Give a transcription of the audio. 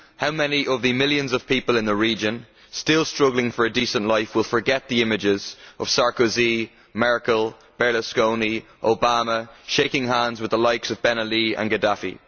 How many of the millions of people in the region still struggling for a decent life will forget the images of Sarkozy, Merkel, Berlusconi and Obama, shaking hands with the likes of Ben Ali and Gaddafi?